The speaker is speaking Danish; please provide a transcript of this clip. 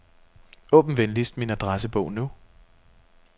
Åbn venligst min adressebog nu.